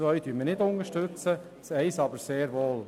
Den Punkt 2 unterstützen wir nicht, den Punkt 1 aber sehr wohl.